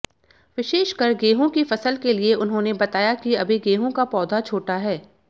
विशेषकर गेहूं की फसल के लिये उन्होंने बताया कि अभी गेहूं का पौधा छोटा है